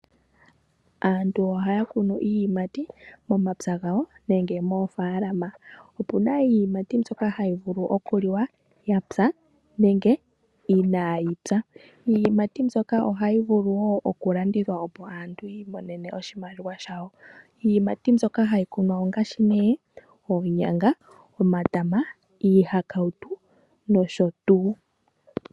Aantu ohaya kunu iiyimati momapya gawo nenge moofaalama, opuna iiyimati mbyoka hayi vulu okuliwa yapya nenge inaayipya. Iiyimati mbyoka ohayi vulu woo okulandithwa opo aantu yiimonene mo oshimaliwa shawo. Iiyimati mbyoka hayi kunwa ongaashi oonyanga, omatama, iihakautu nayilwe.